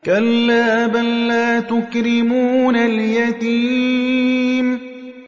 كَلَّا ۖ بَل لَّا تُكْرِمُونَ الْيَتِيمَ